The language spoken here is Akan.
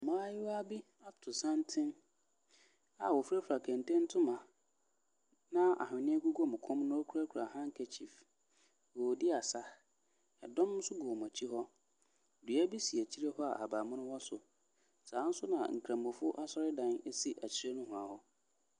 Mmaayewa bi ato santene a wɔfirafira kente ntoma, na ahwenɛ gugu wɔn kɔn mu na wɔkurakura handkerchief. Wɔredi asa. Ɛdɔm nso gu wɔn akyi hɔ. Dua bi si akyire hɔ a ahabammono wɔ so. Saa ara nso na nkramofoɔ asɔredan si akyire nohoa hɔ.